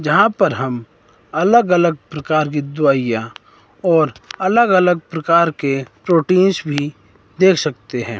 जहां पर हम अलग अलग प्रकार की दवाइयां और अलग अलग प्रकार के प्रोटींस भी देख सकते हैं।